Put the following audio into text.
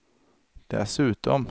dessutom